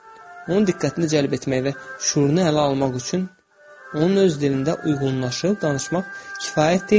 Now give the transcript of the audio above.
Onun diqqətini cəlb etmək və şüurunu ələ almaq üçün onun öz dilində uyğunlaşıb danışmaq kifayət deyildir.